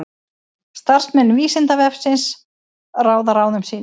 Starfsmenn Vísindavefsins ráða ráðum sínum.